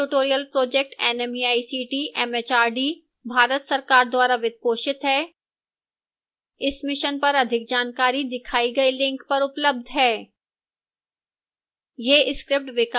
spoken tutorial project nmeict mhrd Bharat सरकार द्वारा वित्त पोषित है इस mission पर अधिक जानकारी दिखाई गई link पर उपलब्ध है